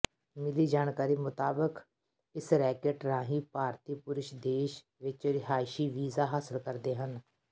ਮਿਲੀ ਜਾਣਕਰੀ ਮੁਤਾਬਕ ਇਸ ਰੈਕੇਟ ਰਾਹੀਂ ਭਾਰਤੀ ਪੁਰਸ਼ ਦੇਸ਼ ਵਿਚ ਰਿਹਾਇਸ਼ੀ ਵੀਜ਼ਾ ਹਾਸਲ ਕਰਦੇ ਸਨ